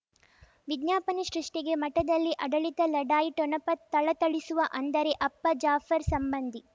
ವಿಜ್ಞಾಪನೆ ಸೃಷ್ಟಿಗೆ ಮಠದಲ್ಲಿ ಆಡಳಿತ ಲಢಾಯಿ ಠೊಣಪ ಥಳಥಳಿಸುವ ಅಂದರೆ ಅಪ್ಪ ಜಾಫರ್ ಸಂಬಂಧಿ